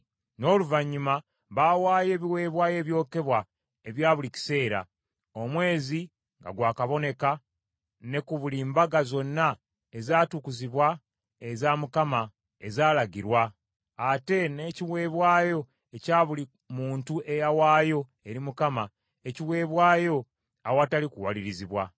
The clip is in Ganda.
N’oluvannyuma baawaayo ebiweebwayo ebyokebwa ebya buli kiseera, omwezi nga gwa kaboneka ne ku buli mbaga zonna ezaatukuzibwa eza Mukama ezaalagirwa, ate n’ekiweebwayo ekya buli muntu eyawaayo eri Mukama ekiweebwayo awatali kuwalirizibwa.